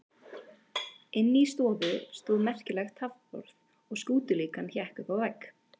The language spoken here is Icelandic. Inni í stofu stóð merkilegt taflborð og skútulíkan hékk uppi á vegg.